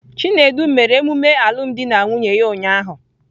Chinedu mere emume alụmdi na nwunye ya ụnyahụ.